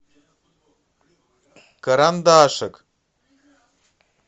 карандашик